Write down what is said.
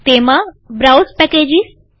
તેમાંબ્રાઉઝ packages